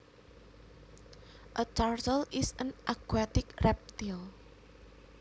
A turtle is an aquatic reptile